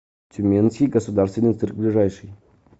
тюменский государственный цирк ближайший